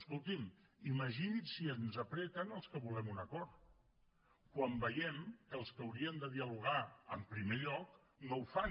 escolti’m imagini’s si ens apreten als que volem un acord quan veiem que els que haurien de dialogar en primer lloc no ho fan